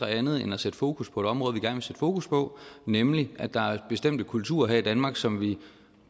andet end at sætte fokus på et område vi gerne vil sætte fokus på nemlig at der er bestemte kulturer her i danmark som vi